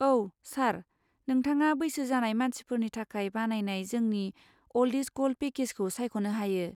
औ, सार। नोंथाङा बैसो जानाय मानसिफोरनि थाखाय बानायनाय जोंनि 'अल्ड इस गल्ड' पेकेजखौ सायख'नो हायो।